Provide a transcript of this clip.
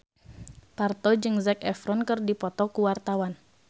Parto jeung Zac Efron keur dipoto ku wartawan